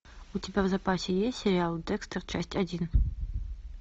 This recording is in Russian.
у тебя в запасе есть сериал декстер часть один